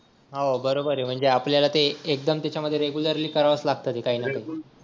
हो बरोबर आहे म्हणजे आपल्याला ते एकदम त्याच्यामध्ये रेग्युलरली करावच लागत ते काही ना काही